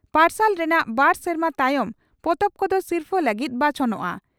ᱯᱟᱨᱥᱟᱞ ᱨᱮᱱᱟᱜ ᱵᱟᱨ ᱥᱮᱨᱢᱟ ᱛᱟᱭᱚᱢ ᱯᱚᱛᱚᱵ ᱠᱚᱫᱚ ᱥᱤᱨᱯᱷᱟᱹ ᱞᱟᱹᱜᱤᱫ ᱵᱟᱪᱷᱚᱱᱚᱜᱼᱟ ᱾